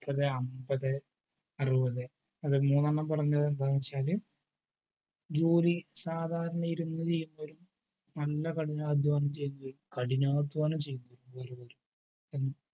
അത് അമ്പത് അറുപത് അതിൽ മുന്നേണം കുറഞ്ഞതെന്താന്നു വച്ചാൽ ജോലി ഇരുന്നു നല്ല കഠിനാധ്വാനം ചെയ്താൽ കഠിനാധ്വാനം ചെയ്ത